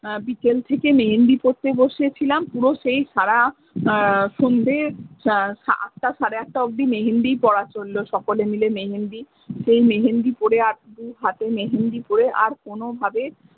বিকেল থেকে মেহেন্দি করতে বসে ছিলাম পুরো সেই সাড়া সন্ধ্যে আঁটটা সাড়ে আঁটটা অবদি মেহেন্দি পড়া চলল সকলে মিলে মেহেন্দি সেই মেহেন্দি পোড়ে আর কোনো ভাবে।